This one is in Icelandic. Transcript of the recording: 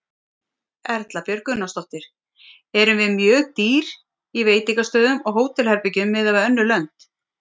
Erla Björg Gunnarsdóttir: Erum við mjög dýr í veitingastöðum og hótelherbergjum miðað við önnur lönd?